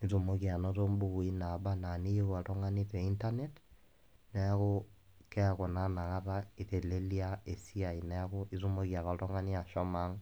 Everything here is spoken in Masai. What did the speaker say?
nitumoki ainoto imbukui naata ana eniyou oltung'ani te internet neaku keaku naa inakata keitelelia esiai. Neaku itumoki ake oltung'ani ake ashomo aang'